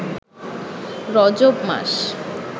রজব মাস